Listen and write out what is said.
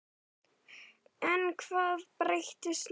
En hvað breytist núna?